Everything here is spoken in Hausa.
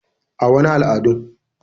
A,wani al adun.